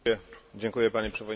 Panie Przewodniczący!